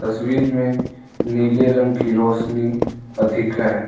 तस्वीर में नीले रंग की रोशनी अधिक है।